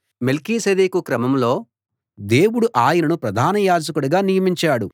మెల్కీసెదెకు క్రమంలో దేవుడు ఆయనను ప్రధాన యాజకుడిగా నియమించాడు